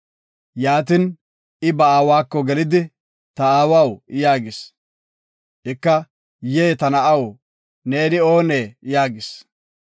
Yaatin, I ba aawako gelidi, “Ta aawaw” yaagis. Ika, “Yee, ta na7aw, neeni oonee?” yaagis.